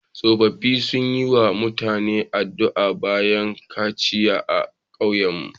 Tsofaffi sun yi wa mutum addu'a bayan kaciya a kauyenmu.